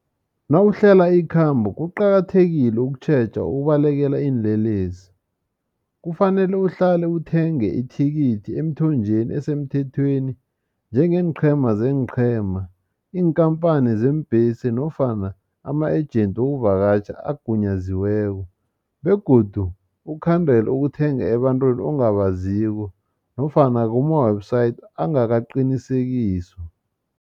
Nawuhlela ikhambo kuqakathekile ukutjheja ukubalekela iinlelesi kufanele uhlale uthenge ithikithi emthonjeni esemthethweni njengeenqhema zeenqhema iinkhamphani zeembhesi nofana ama-agent wokuvakatjha agunyaziweko begodu ukhandele ukuthenga ebantwini ongabaziko nofana kuma-website ongakaqinisekiswa.